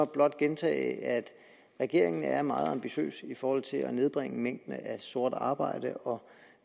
blot gentage at regeringen er meget ambitiøs i forhold til at nedbringe mængden af sort arbejde og